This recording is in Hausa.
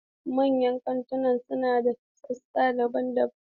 Manyan kantuna suna da sassa daban-daban.